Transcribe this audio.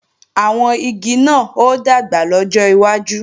Àwọn igi náà ó dàgbà lọ́jọ́ iwájú